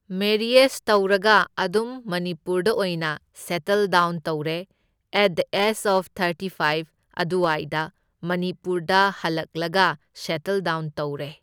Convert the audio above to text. Marriage ꯇꯧꯔꯒ ꯑꯗꯨꯝ ꯃꯅꯤꯄꯨꯔꯗ ꯑꯣꯏꯅ ꯁꯦꯠꯇꯜ ꯗꯥꯎꯟ ꯇꯧꯔꯦ, at the age of thirty ꯐꯥꯏꯕ ꯑꯗꯨꯋꯥꯏꯗ ꯃꯅꯤꯄꯨꯔꯗ ꯍꯜꯂꯛꯂꯒ ꯁꯦꯠꯇꯜ ꯗꯥꯎꯟ ꯇꯧꯔꯦ꯫